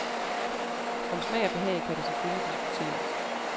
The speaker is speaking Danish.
Om smag og behag kan der selvfølgelig diskuteres.